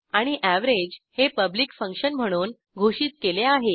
आणि एव्हरेज हे public function म्हणून घोषित केले आहे